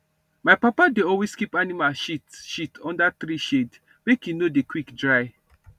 my papa dey always keep animal shit shit under tree shade make e no dey quick dry